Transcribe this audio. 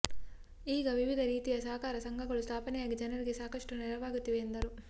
ಈಗ ವಿವಿಧ ರೀತಿಯ ಸಹಕಾರ ಸಂಘಗಳು ಸ್ಥಾಪನೆಯಾಗಿ ಜನರಿಗೆ ಸಾಕಷ್ಟು ನೆರವಾಗುತ್ತಿವೆ ಎಂದರು